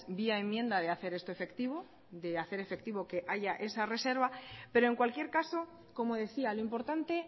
vía enmienda de hacer esto efectivo de hacer efectivo que haya esa reserva pero en cualquier caso como decía lo importante